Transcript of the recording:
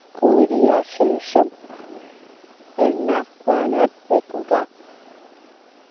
കോരിയ ശേഷം എണ്ണ വാലാൻ വെക്കുക